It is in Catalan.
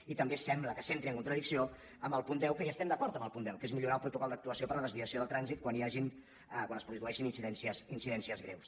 i també sembla que s’entri en contradicció amb el punt deu que hi estem d’acord amb el punt deu que és millorar el protocol d’actuació per a la desviació del trànsit quan hi hagin quan es produeixin incidències greus